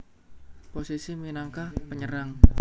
Posisi minangka penyerang